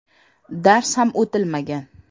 Dars ham o‘tilmagan.